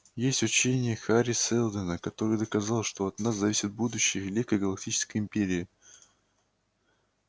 есть учение хари сэлдона который доказал что от нас зависит будущее великой галактической империи